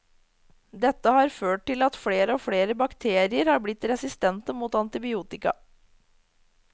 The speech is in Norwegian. Dette har ført til at flere og flere bakterier har blitt resistente mot antibiotika.